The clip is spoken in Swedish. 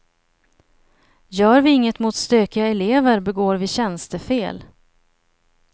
Gör vi inget mot stökiga elever begår vi tjänstefel.